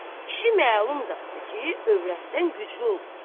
Kişi məlum zadıdır ki, övrətdən güclü olur.